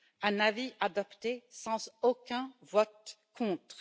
un avis adopté sans aucun vote contre.